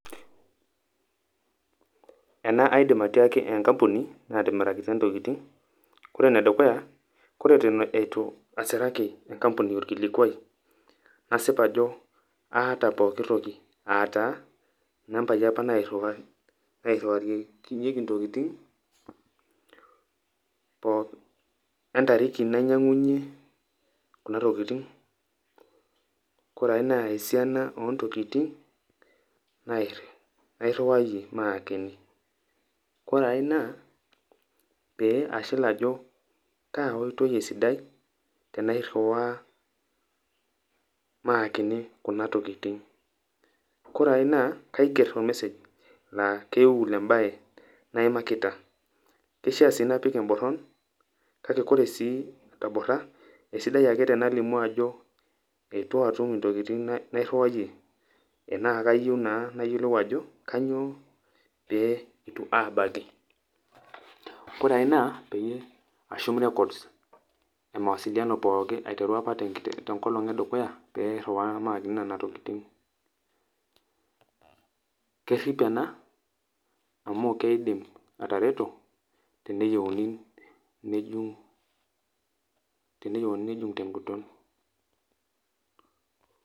Ena aidim atiaaki enkampuni naatimirakita ntokitin , ore ene dukuya naa ore eton itu asiraki enkapuni orkilikwai nasip ajo aata pooki toki aa taa nambai apa nairiwakinyieki ntookitin poo , we entariki nainyiangunyie kuna tokitin , ore ae naa esiana ontokitin nairi, nairiwayie maakini. Kore ae naa pee ashilajokaa oitoi esidai tenairiwaa maakini kuna tokitin. Kore ae naa kaiger or message laa keul embae naimakita. Kishaa sii napik emboron ,kake ore sii atomora , esidai ake tenalimu akoeitu atum intokitin nairiwayie enaa kayieu naa nayiolou ajo kainyioo pee itu abaki. Ore ae naa peyie ashum records e mawasiliano pooki aiteru apa tenkolong edukuya pee airiwaa apa nena tokitin. Kerip ena amu keidim atareto teneyieuni nejung, teneyieuni nejung tenguton.